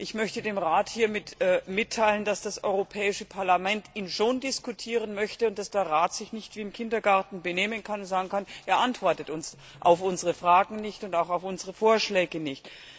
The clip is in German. Ich möchte dem Rat hiermit mitteilen, dass das Europäische Parlament ihn schon diskutieren möchte und dass der Rat sich nicht wie im Kindergarten benehmen und sagen kann, er antwortet uns auf unsere Fragen und auch auf unsere Vorschläge nicht.